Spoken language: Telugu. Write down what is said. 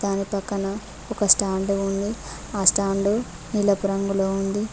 దాని పక్కన ఒక స్టాండ్ ఉంది ఆ స్టాండు నీలపు రంగులో ఉంది.